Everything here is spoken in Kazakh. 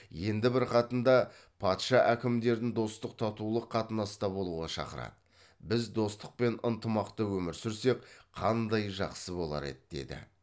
енді бір хатында патша әкімдерін достық татулық қатынаста болуға шақырады біз достық пен ынтымақта өмір сүрсек қандай жақсы болар еді деді